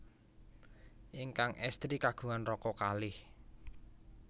Ingkang éstri kagungan raka kalih